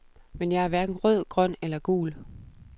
Men jeg er hverken rød, grøn eller gul.